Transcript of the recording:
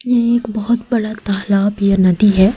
ये एक बहोत बड़ा तालाब या नदी है।